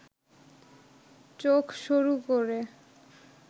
চোখ সরু করে